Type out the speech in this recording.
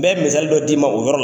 N bɛ misali dɔ d'i ma, o yɔrɔ la.